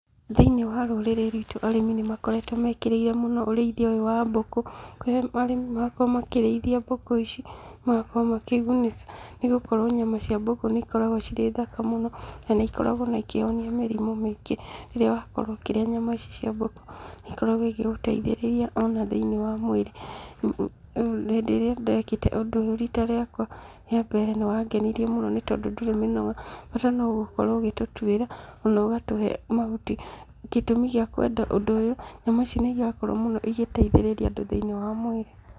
Thĩ-inĩ wa rũrĩrĩ rwitũ arĩmi nĩmakoretwo mekĩrĩire mũno ũrĩithia uyu wa mbũkũ, kũrĩa arĩmi marakorwo makĩrĩithia mbũkũ ici magakorwo makĩgunĩka, nĩgũkorwo nyama cia mbũkũ nĩikoragwo cirĩ thaka mũno, na nĩikoragwo ona ikĩhonia mĩrimu mĩingĩ. Rĩrĩa wakorwo ũkĩrĩa nyama ici cia mbũkũ nĩikoragwo igĩgũteithĩrĩria ona thĩ-inĩ wa mwĩrĩ. Hĩndĩ ĩrĩa ndekĩte ũndũ ũyũ rita riakwa rĩa mbere nĩwangenirie mũno nĩtondũ ndũrĩ mĩnoga. Bata no gũkorwo ũgĩtũtwĩra, ona ũgatũhe mahuti. Gĩtũmi gĩa kwenda ũndũ ũyũ; nyama ici nĩirakorwo ĩgĩteithĩrĩria mũno andũ thĩ-ini wa mwĩrĩ.